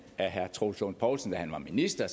af herre troels lund poulsen da han var minister